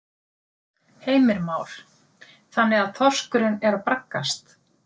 Heimir Már: Þannig að þorskurinn er að braggast?